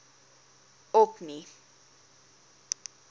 orkney